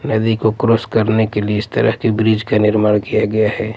नदी को क्रॉस करने के लिए इस तरह के ब्रिज का निर्माण किया गया हैं।